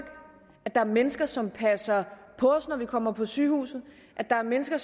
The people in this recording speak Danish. at der er mennesker som passer på os når vi kommer på sygehuset at der er mennesker